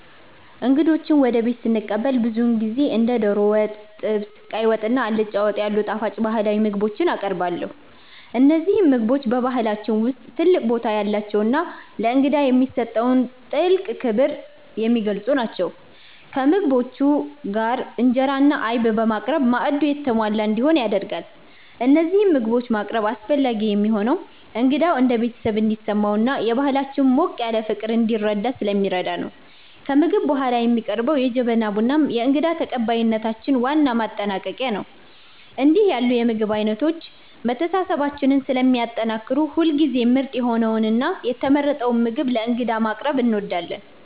እንግዶችን ወደ ቤት ስቀበል ብዙውን ጊዜ እንደ ዶሮ ወጥ፣ ጥብስ፣ ቀይ ወጥ እና አልጫ ወጥ ያሉ ጣፋጭ ባህላዊ ምግቦችን አቀርባለሁ። እነዚህ ምግቦች በባህላችን ውስጥ ትልቅ ቦታ ያላቸውና ለእንግዳ የሚሰጠውን ጥልቅ ክብር የሚገልጹ ናቸው። ከምግቦቹ ጋር እንጀራ እና አይብ በማቅረብ ማዕዱ የተሟላ እንዲሆን ይደረጋል። እነዚህን ምግቦች ማቅረብ አስፈላጊ የሚሆነው እንግዳው እንደ ቤተሰብ እንዲሰማውና የባህላችንን ሞቅ ያለ ፍቅር እንዲረዳ ስለሚረዳ ነው። ከምግብ በኋላ የሚቀርበው የጀበና ቡናም የእንግዳ ተቀባይነታችን ዋና ማጠናቀቂያ ነው። እንዲህ ያሉ የምግብ አይነቶች መተሳሰባችንን ስለሚያጠናክሩ ሁልጊዜም ምርጥ የሆነውንና የተመረጠውን ምግብ ለእንግዳ ማቅረብ እንወዳለን።